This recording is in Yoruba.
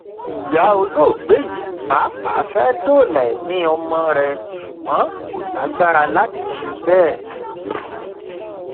ìyá olóògbé yìí pàápàá fẹẹ dóòlà ẹmí ọmọ rẹ ṣùgbọn kò lágbára láti ṣe bẹẹ